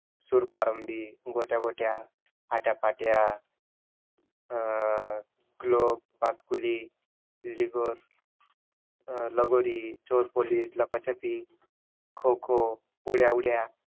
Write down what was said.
सुरपारंभी, गोट्या गोट्या, आट्या पाट्या अं गलोप फुलली, लिगोर अं लगोरी, चोर पोलिस, लपाछपी, खो खो, उड्या उड्या